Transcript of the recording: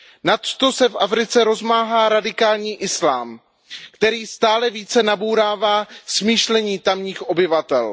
Nadto se v Africe rozmáhá radikální islám, který stále více nabourává smýšlení tamních obyvatel.